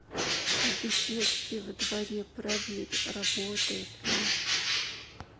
в беседке во дворе проверь работает ли